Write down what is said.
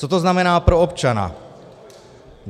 Co to znamená pro občana?